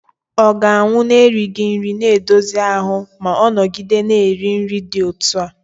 ọ ga-anwụ n'erighị nri na-edozi ahụ ma ọ nọgide na-eri nri dị otú a?